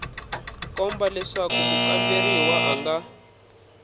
komba leswaku mukamberiwa a nga